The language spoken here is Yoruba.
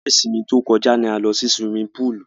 Ọjọ́ isinmi tó kọjá ni a lọ sí siwimi púùlù.